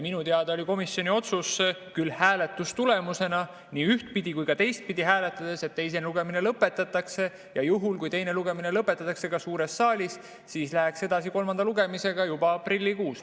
Minu teada oli komisjoni otsus küll nii ühtpidi kui ka teistpidi hääletades, et teine lugemine lõpetatakse ja juhul, kui teine lugemine lõpetatakse ka suures saalis, siis minnakse edasi kolmanda lugemisega juba aprillikuus.